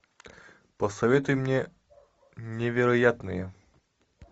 посоветуй мне невероятные